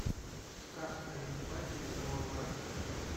сказ о евпатии коловрате